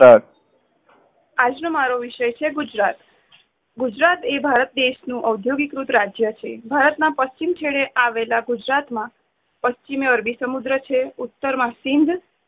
આજ નો મારો વિષય છે. ગુજરાત ગુજરાત એ ભારત દેશ નું અધોગિત કૃત રાજય છે. ભારત ના પચ્ચિમ છેડે આવેલા ગુજરાત માં પચ્છિમએ અરબી સમુદ્ર છે. ઉત્તર માં cut